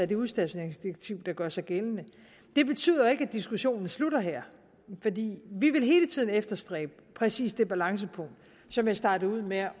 det udstationeringsdirektiv der gør sig gældende det betyder jo ikke at diskussionen slutter her fordi vi vil hele tiden efterstræbe præcis det balancepunkt som jeg startede ud med